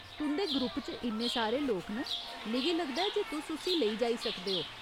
तुं'दे ग्रुप च इन्ने सारे लोक न, मिगी लगदा ऐ जे तुस उस्सी लेई जाई सकदे ओ।